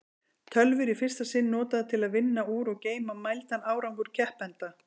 Tölvur í fyrsta sinn notaðar til að vinna úr og geyma mældan árangur keppenda.